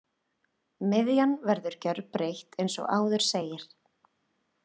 Miðjan verður gjörbreytt eins og áður segir.